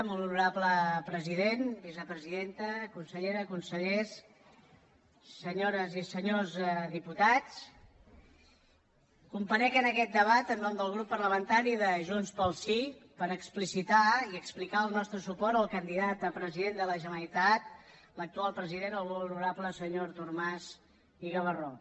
molt honorable president vicepresidenta conselleres consellers senyores i senyors diputats comparec en aquest debat en el nom del grup parlamentari de junts pel sí per explicitar i explicar el nostre suport al candidat a president de la generalitat l’actual president el molt honorable senyor artur mas i gavarró